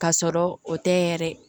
Ka sɔrɔ o tɛ yɛrɛ